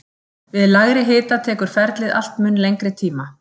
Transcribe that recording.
Við lægri hita tekur ferlið allt mun lengri tíma.